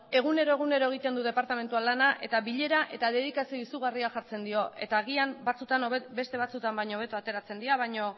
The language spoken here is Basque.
egunero egiten dut departamentuan lana eta bilera eta dedikazio izugarria jartzen diot eta agian batzuetan beste batzuetan baino hobeto ateratzen dira baina